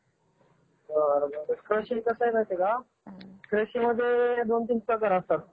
बरं बरं. कृषी कसं आहे माहितीये का कृषी मध्ये दोन-तीन प्रकार असतात.